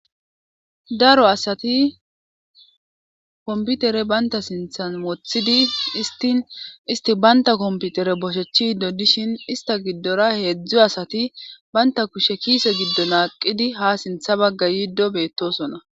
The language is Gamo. Daro asati komputere banta sinthan moothidi istin isti baynta komputere boshechi iddo dishin ista giddora heedzdzo asati baynta kushe kiise giddo naaqidi ha sintha bagga yiido beettosona.